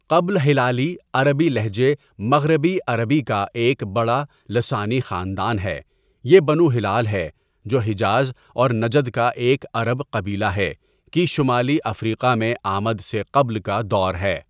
قبل ہلالی عربی لہجے مغربی عربی کا ایک بڑا لسانی خاندان ہیں یہ بنو ہلال ہے جو حجاز اور نجد کا ایک عرب قبیلہ ہے کی شمالی افریقا میں ا٘مد سے قبل کا دور ہے.